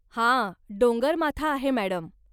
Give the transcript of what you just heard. हा डोंगरमाथा आहे मॅडम.